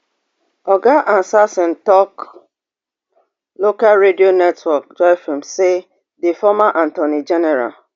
oga ansaasare tok local radio network joyfm say di former attorney general